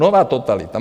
Nová totalita.